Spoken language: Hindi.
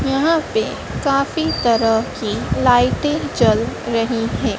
यहां पे काफी तरह की लाइटें जल रही है।